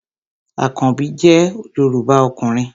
Àkanbí jẹ́ Yorùbá ọkùnrin